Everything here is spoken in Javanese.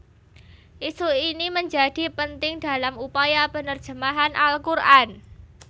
Isu ini menjadi penting dalam upaya penerjemahan Al Qur an